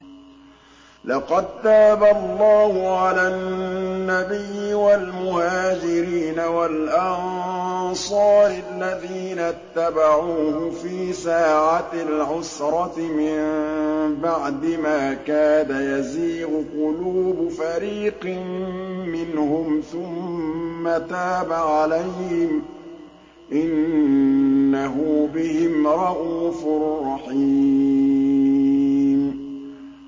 لَّقَد تَّابَ اللَّهُ عَلَى النَّبِيِّ وَالْمُهَاجِرِينَ وَالْأَنصَارِ الَّذِينَ اتَّبَعُوهُ فِي سَاعَةِ الْعُسْرَةِ مِن بَعْدِ مَا كَادَ يَزِيغُ قُلُوبُ فَرِيقٍ مِّنْهُمْ ثُمَّ تَابَ عَلَيْهِمْ ۚ إِنَّهُ بِهِمْ رَءُوفٌ رَّحِيمٌ